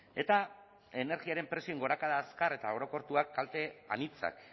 eta energiaren prezioen gorakada azkar eta orokortuak kalte anitzak